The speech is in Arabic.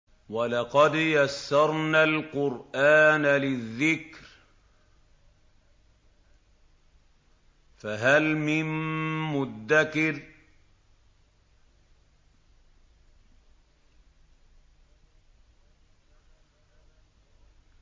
وَلَقَدْ يَسَّرْنَا الْقُرْآنَ لِلذِّكْرِ فَهَلْ مِن مُّدَّكِرٍ